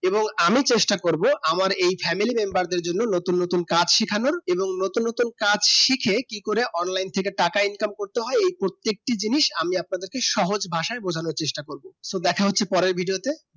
এবং আমি চেষ্টা করবো আমার এই family member দের জন্য নতুন নতুন কাজ শেখানো এবং নতুন নতুন কাজ শিখে কি করে online থেকে টাকা income করতে হয় এই প্রত্যেকটি জিনিস আমি অপনাদিকে সহজ ভাষাই বোঝানো চেষ্টা করবো তো দেখা হচ্ছে পরের video তে